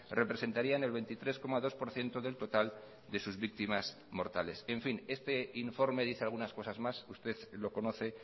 representarían el veintitrés coma dos por ciento del total de sus víctimas mortales en fin este informe dice algunas cosas más usted lo conoce